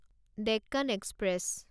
Deccan express